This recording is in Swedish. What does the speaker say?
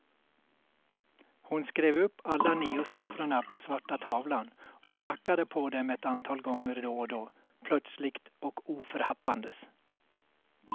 Hon skrev upp alla nio siffrorna på svarta tavlan och knackade på dem ett antal gånger då och då, plötsligt och oförhappandes.